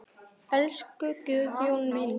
Elsku Guðjón minn.